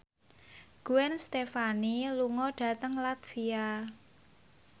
Gwen Stefani lunga dhateng latvia